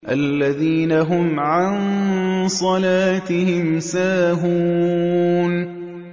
الَّذِينَ هُمْ عَن صَلَاتِهِمْ سَاهُونَ